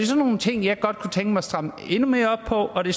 sådan nogle ting jeg godt kunne tænke mig strammet endnu mere op på og det